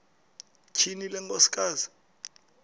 tyhini le nkosikazi